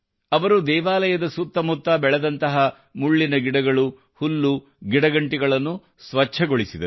ಅವರು ದೇವಾಲಯದ ಸುತ್ತಮುತ್ತ ಬೆಳೆದಂತಹ ಮುಳ್ಳಿನ ಗಿಡಗಳು ಹುಲ್ಲು ಮತ್ತು ಗಿಡಗಂಟಿಗಳನ್ನು ಸ್ವಚ್ಛಗೊಳಿಸಿದರು